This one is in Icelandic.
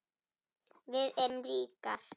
Við erum ríkar